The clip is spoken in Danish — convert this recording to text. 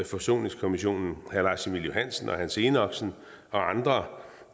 forsoningskommissionen herre lars emil johansen hans enoksen og andre